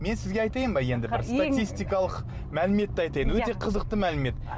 мен сізге айтайын ба енді бір статистикалық мәліметті айтайын өте қызықты мәлімет